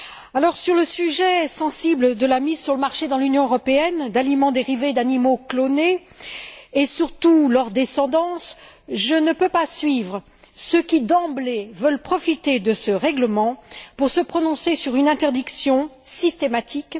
Alors, sur le sujet sensible de la mise sur le marché dans l'Union européenne d'aliments dérivés d'animaux clonés, et surtout leur descendance, je ne peux pas suivre ceux qui, d'emblée, veulent profiter de ce règlement pour se prononcer sur une interdiction systématique.